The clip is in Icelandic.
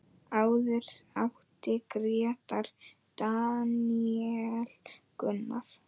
Áður átti Grétar, Daníel Gunnar.